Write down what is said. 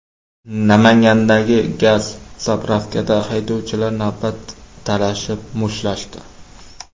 Namangandagi gaz-zapravkada haydovchilar navbat talashib mushtlashdi.